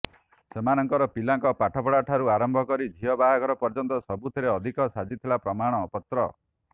ସେମାନଙ୍କର ପିଲାଙ୍କ ପାଠପଢ଼ା ଠାରୁ ଆରମ୍ଭ କରି ଝିଅ ବାହାଘର ପର୍ଯ୍ୟନ୍ତ ସବୁଥିରେ ବାଧକ ସାଜିଥିଲା ପ୍ରମାଣପତ୍ର